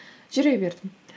жүре бердім